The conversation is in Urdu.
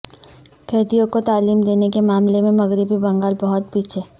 قیدیوں کو تعلیم دینے کے معاملے میں مغربی بنگال بہت پیچھے